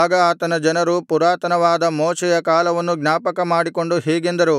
ಆಗ ಆತನ ಜನರು ಪುರಾತನವಾದ ಮೋಶೆಯ ಕಾಲವನ್ನು ಜ್ಞಾಪಕಮಾಡಿಕೊಂಡು ಹೀಗೆಂದರು